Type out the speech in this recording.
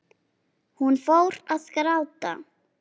Hún fór að gráta.